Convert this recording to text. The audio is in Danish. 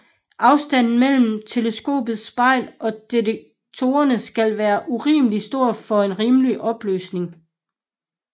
Afstanden mellem teleskopets spejl og detektoren skal være urimelig stor for en rimelig opløsning